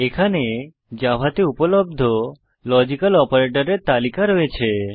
এখানে জাভাতে উপলব্ধ লজিক্যাল অপারেটরের তালিকা রয়েছে